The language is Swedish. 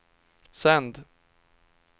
sänd